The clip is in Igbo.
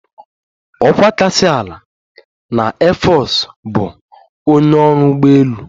"Ọkwa kachasị ala na airforce bụ ""onye ọrụ ụgbọelu"""